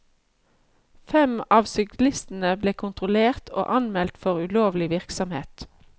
Fem av syklistene ble kontrollert og anmeldt for ulovlig virksomhet.